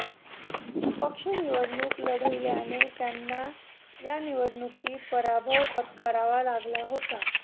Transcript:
अपक्ष निवडणूक लढविल्याने त्यांना या निवडणुकीत पराभव पत्करावा लागला होता